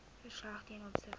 verslag ten opsigte